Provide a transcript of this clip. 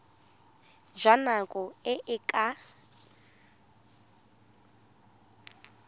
jwa nako e e ka